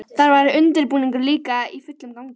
Þar var undirbúningur líka í fullum gangi.